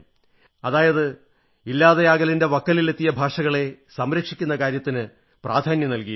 അതായത് ഇല്ലാതെയാകലിന്റെ വക്കത്തെത്തിയ ഭാഷകളെ സംരക്ഷിക്കുന്ന കാര്യത്തിന് പ്രധാന്യം നല്കിയിരിക്കുന്നു